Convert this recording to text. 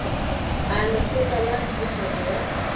a lekgotla la netefatšo ya